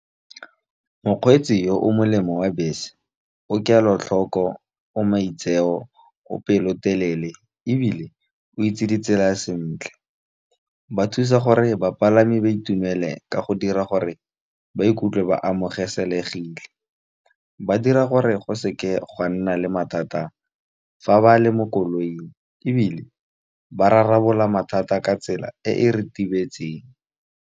Mokgweetsi yo o molemo wa bese o kelotlhoko, o maitseo, o pelotelele, ebile o itse ditsela sentle. Ba thusa gore bapalami ba itumele ka go dira gore ba ikutlwe ba amogelesegile. Ba dira gore go seke ga nna le mathata fa ba le mo koloing, ebile ba rarabolola mathata ka tsela e e ritibetseng.